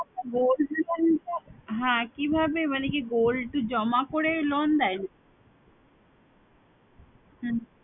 হ্যাঁ কিভাবে মানে কি gold জমা করে loan দেয়? হম